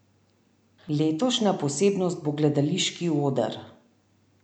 Letošnja posebnost bo gledališki oder.